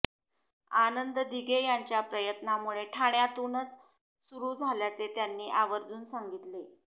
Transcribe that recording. आनंद दिघे यांच्या प्रयत्नांमुळे ठाण्यातूनच सुरु झाल्याचे त्यांनी आवर्जून सांगितले